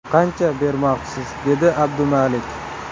Qancha bermoqchisiz, - dedi Abdumalik.